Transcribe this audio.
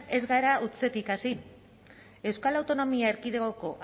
ez gara hutsetik hasi euskal autonomia erkidegoko